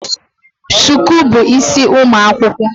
Shuku bu isi ụmụ akwụkwọ